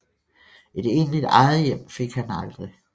Et egentligt eget hjem fik han aldrig